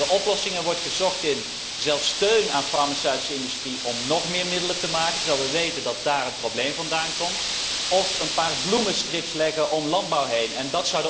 De oplossing wordt zelfs gezocht in steun aan farmaceutische industrie om nog meer middelen te maken, terwijl we weten dat daar het probleem vandaan komt, of in een paar bloemenstrips leggen om landbouwakkers heen.